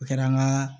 O kɛra an ka